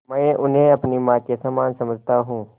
मैं उन्हें अपनी माँ के समान समझता हूँ